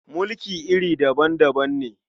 Mulki iri daban-daban ne.